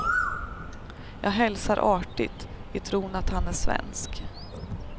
Jag hälsar artigt, i tron att han är svensk.